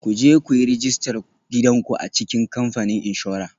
Ku je ku yi rajistar gidan ku a cikin kamfanin inshora